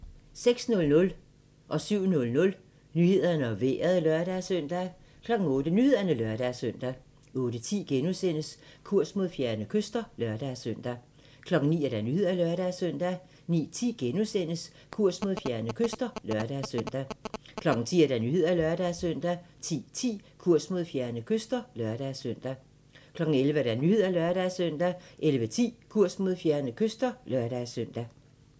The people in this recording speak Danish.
06:00: Nyhederne og Vejret (lør-søn) 07:00: Nyhederne og Vejret (lør-søn) 08:00: Nyhederne (lør-søn) 08:10: Kurs mod fjerne kyster *(lør-søn) 09:00: Nyhederne (lør-søn) 09:10: Kurs mod fjerne kyster *(lør-søn) 10:00: Nyhederne (lør-søn) 10:10: Kurs mod fjerne kyster (lør-søn) 11:00: Nyhederne (lør-søn) 11:10: Kurs mod fjerne kyster (lør-søn)